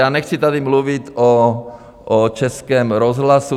A nechci tady mluvit o Českém rozhlasu.